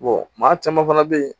maa caman fana be yen